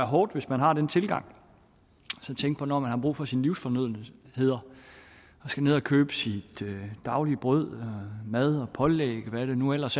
hårdt hvis man har den tilgang når man har brug for sine livsfornødenheder og skal ned at købe sit daglige brød mad og pålæg og hvad det nu ellers